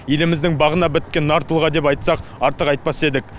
еліміздің бағына біткен нар тұлға деп айтсақ артық айтпас едік